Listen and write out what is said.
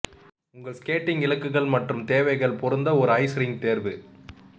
உங்கள் ஸ்கேட்டிங் இலக்குகள் மற்றும் தேவைகள் பொருந்த ஒரு ஐஸ் ரிங் தேர்வு